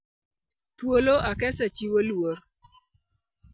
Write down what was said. Thuolo, "Acacia chiwo luor".